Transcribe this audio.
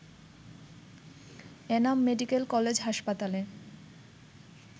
Enam medical college হাসপাতালে